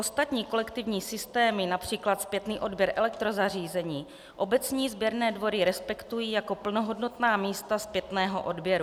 Ostatní kolektivní systémy, například zpětný odběr elektrozařízení, obecní sběrné dvory respektují jako plnohodnotná místa zpětného odběru.